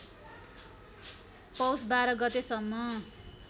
पौष १२ गतेसम्म